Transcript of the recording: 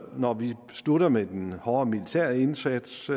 når vi slutter med den hårde militære indsats